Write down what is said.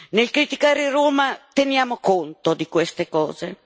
Nel criticare Roma teniamo conto di queste cose.